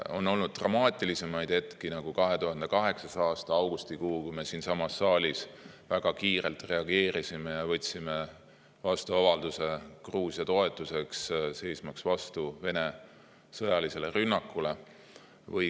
On olnud dramaatilisemaid hetki, nagu 2008. aasta augustikuu, kui me siinsamas saalis väga kiirelt reageerisime ja võtsime vastu avalduse Gruusia toetuseks, seismaks vastu Venemaa sõjalisele rünnakule.